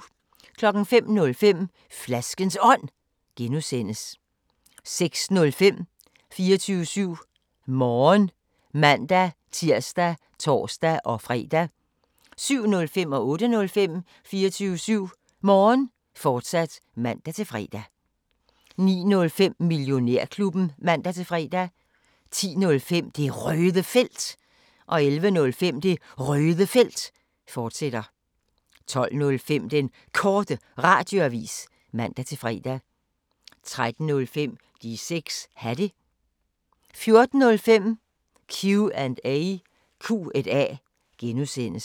05:05: Flaskens Ånd (G) 06:05: 24syv Morgen (man-tir og tor-fre) 07:05: 24syv Morgen, fortsat (man-fre) 08:05: 24syv Morgen, fortsat (man-fre) 09:05: Millionærklubben (man-fre) 10:05: Det Røde Felt 11:05: Det Røde Felt, fortsat 12:05: Den Korte Radioavis (man-fre) 13:05: De 6 Hatte 14:05: Q&A (G)